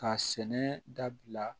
K'a sɛnɛ dabila